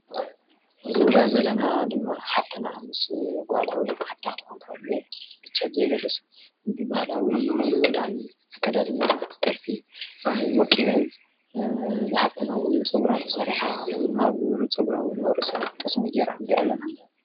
ሕዚ ንሪኣ ዘለና ድማ ሓፍትና ምስ ጓላ ወይም ሓፍታ ክትከውን ትኽእል መቸም ብዘየገድስ ብባሃላዊ ክዳን ኣከዳድና ጥልፊ ወቂበን፣ እዛ ሓፍትና እውን ፀጉራ ተሰሪሓ ኣብ ፀጉራ እውን ኣብ ርእሳ ጠስሚ ገራ ንሪኣ ኣለና።